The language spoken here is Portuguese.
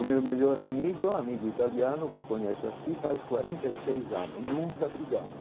O meu melhor amigo, amigo italiano, que conheço aqui, faz quarenta e seis anos, nunca brigamo.